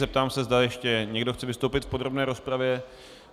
Zeptám se, zda ještě někdo chce vystoupit v podrobné rozpravě.